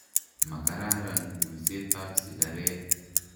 Ma kararan kulset ap sikaret.